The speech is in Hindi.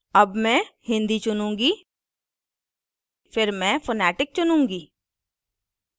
अब मैं hindi चुनूँगी फिर मैं phonetic चुनुँगी